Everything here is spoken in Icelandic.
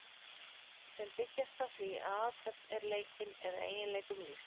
sem byggjast á því að athöfn er leikin eða eiginleikum lýst